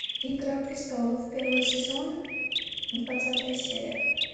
игра престолов первый сезон двадцатая серия